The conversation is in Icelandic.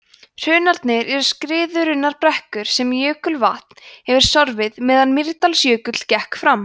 hrunarnir eru skriðurunnar brekkur sem jökulvatn hefur sorfið meðan mýrdalsjökull gekk framar